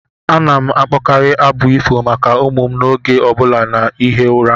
M na-akpọkarị abụ ifo maka ụmụ m oge ọ bụla na-ehi ụra.